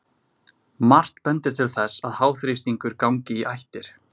Margt bendir til þess að háþrýstingur gangi í ættir.